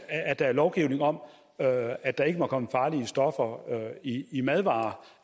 lovgivning om at der ikke må komme farlige stoffer i madvarer